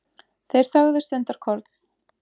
Þeir þögðu stundarkorn.